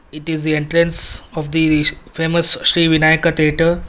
It is the entrance of the famous sri vinayaka theatre.